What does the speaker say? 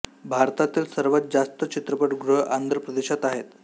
भारतातील सर्वात जास्त चित्रपट गृह आंध्र प्रदेशात आहेत